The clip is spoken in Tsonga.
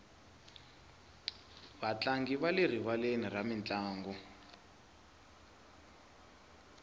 vatlangi va le rivaleni ra mintlangu